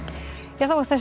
þessum